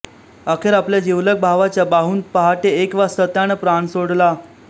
अखेर आपल्या जिवलग भावाच्या बाहूंत पहाटे एक वाजता त्यानं प्राण सोडला